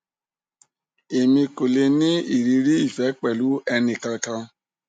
emi ko le ni iriri ife pelu eni kan kan